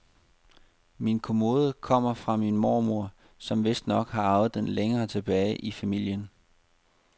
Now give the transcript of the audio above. Min kommode kommer fra min mormor, som vistnok har arvet den længere tilbage i familien.